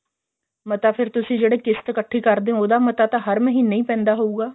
ਮਤਾ ਫੇਰ ਤੁਸੀਂ ਜਿਹੜੀ ਕਿਸ਼ਤ ਇੱਕਠੀ ਕਰਦੇ ਹੋ ਉਹਦਾ ਮਤਾ ਤਾਂ ਹਰ ਮਹੀਨੇ ਹੀ ਪੈਂਦਾ ਹੋਊਗਾ